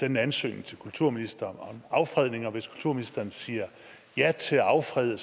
en ansøgning til kulturministeren om affredning og hvis kulturministeren siger ja til at affrede